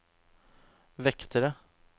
vektere